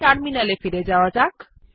এখন টার্মিনাল এ ফিরে যাওয়া যাক